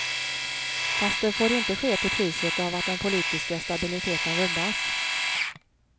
Fast det får inte ske till priset av att den politiska stabiliteten rubbas.